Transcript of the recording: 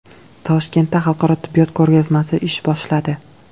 Toshkentda xalqaro tibbiyot ko‘rgazmasi ish boshladi.